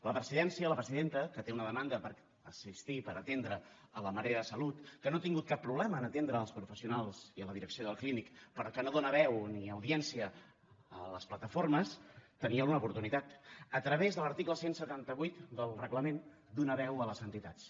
la presidència la presidenta que té una demanda per assistir per atendre la marea de salut que no ha tingut cap problema en atendre els professionals i la direcció del clínic però que no dóna veu ni audiència a les plataformes tenia una oportunitat a través de l’article cent i setanta vuit del reglament donar veu a les entitats